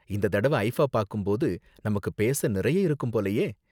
இந்த தடவ ஐஃபா பாக்கும் போது நமக்கு பேச நிறைய இருக்கும் போலயே.